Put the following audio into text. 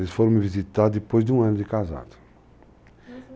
Eles foram me visitar depois de um ano de casado.